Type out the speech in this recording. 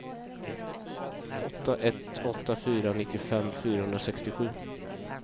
åtta ett åtta fyra nittiofem fyrahundrasextiosju